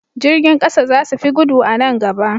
Jirgin ƙasa za su fi gudu a nan gaba.